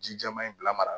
Ji jɛman in bila mara